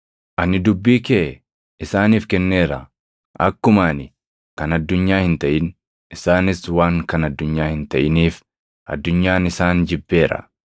Ani dubbii kee isaaniif kenneera; akkuma ani kan addunyaa hin taʼin, isaanis waan kan addunyaa hin taʼiniif, addunyaan isaan jibbeera.